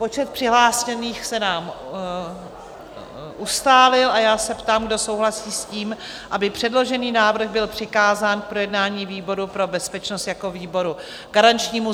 Počet přihlášených se nám ustálil a já se ptám, kdo souhlasí s tím, aby předložený návrh byl přikázán k projednání výboru pro bezpečnost jako výboru garančnímu.